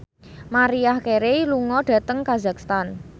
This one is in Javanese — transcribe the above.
Maria Carey lunga dhateng kazakhstan